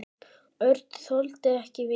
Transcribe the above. Örn þoldi ekki við.